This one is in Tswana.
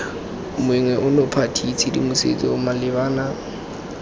monngwe ono party tshedimosetso malebana